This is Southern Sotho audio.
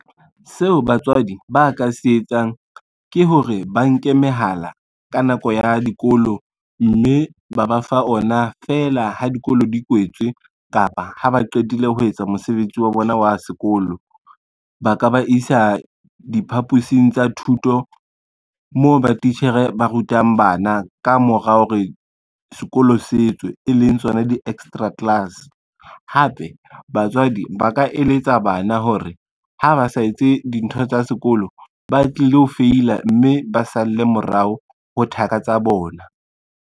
Seo batswadi ba ka se etsang ke hore ba nke mehala ka nako ya dikolo, mme ba ba fa ona fela ha dikolo di kwetswe kapa ha ba qetile ho etsa mosebetsi wa bona wa sekolo. Ba ka ba isa diphapusing tsa thuto moo ba titjhere ba rutang bana ka mora hore sekolo se tseo e leng tsona di-extra class. Hape batswadi ba ka eletsa bana hore ha ba sa etse dintho tsa sekolo, ba tlilo feila mme ba salle morao ho thaka tsa bona.